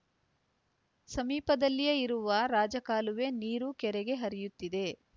ಸಮೀಪದಲ್ಲಿಯೇ ಇರುವ ರಾಜಕಾಲುವೆ ನೀರು ಕೆರೆಗೆ ಹರಿಯುತ್ತಿದೆ